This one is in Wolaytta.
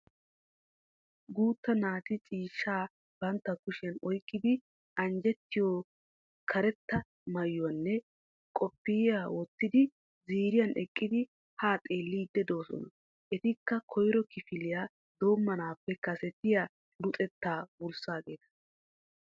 Guutta naati ciishshaa bantta kushiyan oyikkidi anjjettiyo karetta mayuwanne qophiya wottidi ziiriyan eqqidi haa xeelliiddi doosona. Etikka koyro kifiliya doommanaappe kasetiya luxettaa wurssaageeta.